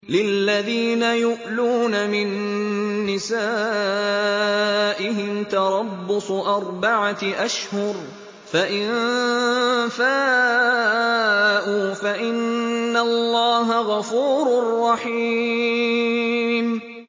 لِّلَّذِينَ يُؤْلُونَ مِن نِّسَائِهِمْ تَرَبُّصُ أَرْبَعَةِ أَشْهُرٍ ۖ فَإِن فَاءُوا فَإِنَّ اللَّهَ غَفُورٌ رَّحِيمٌ